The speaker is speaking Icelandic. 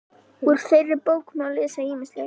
Úr þeirri bók má lesa ýmislegt.